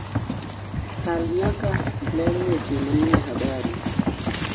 kal nyaka ler weche manie habari